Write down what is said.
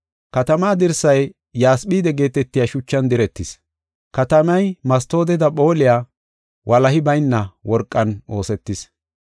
Katamaa dirsay yasphide geetetiya shuchan diretis. Katamay mastooteda phooliya walahi bayna worqan oosetis.